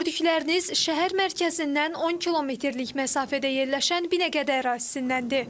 Gördükləriniz şəhər mərkəzindən 10 kilometrlik məsafədə yerləşən Binəqədi ərazisindəndir.